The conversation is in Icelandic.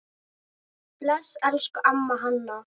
Bless, elsku amma Hanna.